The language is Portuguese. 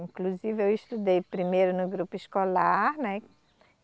Inclusive eu estudei primeiro no grupo escolar, né?